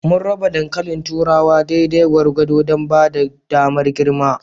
Mun raba dankalin turawa daidai gwargwado don ba da damar girma.